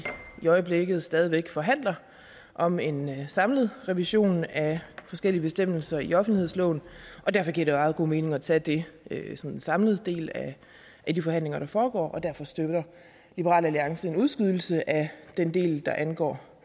øjeblikket stadig væk forhandler om en samlet revision af forskellige bestemmelser i offentlighedsloven og derfor giver det meget god mening at tage det som en samlet del af de forhandlinger der foregår derfor støtter liberal alliance en udskydelse af den del der angår